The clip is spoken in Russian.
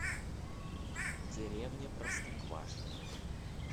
деревня простоквашино